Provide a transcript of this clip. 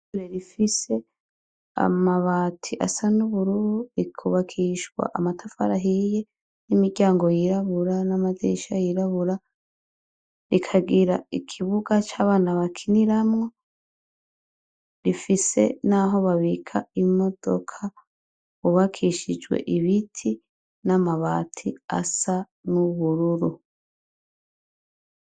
Ishure rifise amabati asa n’ubururu rikunakishwa amatafari ahiye n’imiryango yirabura n’amadirisha yirabura, rikagira Ikibuga c’abana bakiniramwo , rifise n’aho babika imodoka hubakishijwe ibiti n’amabati asa n’ubururu.